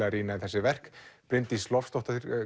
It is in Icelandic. að rýna í þessi verk Bryndís Loftsdóttir